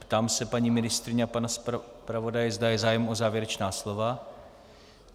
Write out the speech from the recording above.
Ptám se paní ministryně a pana zpravodaje, zda je zájem o závěrečná slova.